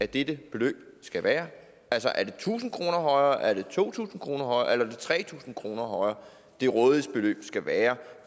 dette beløb skal være er det tusind kroner højere er det to tusind kroner højere det tre tusind kroner højere det rådighedsbeløb skal være